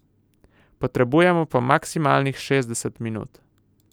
Potrebujemo pa maksimalnih šestdeset minut.